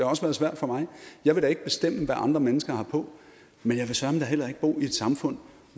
også været svært for mig jeg vil da ikke bestemme hvad andre mennesker har på men jeg vil søreme da heller ikke bo i et samfund